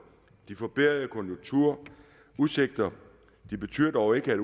de forbedrede konjunkturer og udsigter betyder dog ikke at